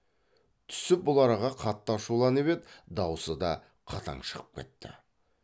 түсіп бұл араға қатты ашуланып еді даусы да қатаң шығып кетті